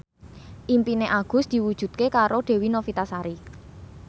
impine Agus diwujudke karo Dewi Novitasari